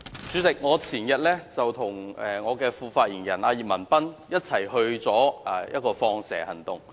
主席，前天我與我的副發言人葉文斌一同參與一個"放蛇"行動。